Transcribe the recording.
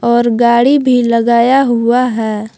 और गाड़ी भी लगाया हुआ है।